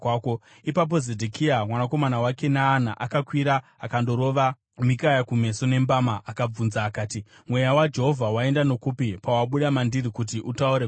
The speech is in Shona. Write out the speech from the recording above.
Ipapo Zedhekia mwanakomana waKenaana akakwira akandorova Mikaya kumeso nembama akabvunza akati, “Mweya waJehovha waenda nokupi pawabuda mandiri kuti utaure kwauri?”